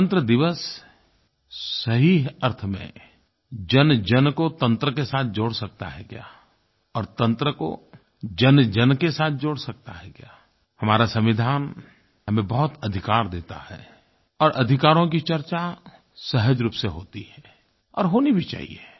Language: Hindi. गणतंत्र दिवस सही अर्थ में जनजन को तंत्र के साथ जोड़ सकता है क्या और तंत्र को जनजन के साथ जोड़ सकता है क्या हमारा संविधान हमें बहुत अधिकार देता है और अधिकारों की चर्चा सहज रूप से होती है और होनी भी चाहिए